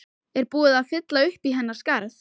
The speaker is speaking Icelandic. Er búið að fylla uppí hennar skarð?